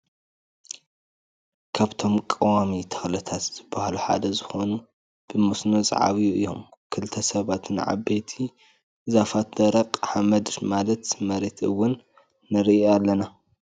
ካብቶም ቀዋሚ ተክልታት ዝብሃሉ ሓደ ዝኮኑ ብመስኖ ዝዓብዩ እዮም። ክልተ ሰባት ን ዓበይቲ ዛፋትን ደረቅ ሓመድ ማለት መሬት እውን ንሪኢ ኣለና ።